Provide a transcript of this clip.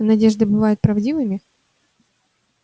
надежды бывают правдивыми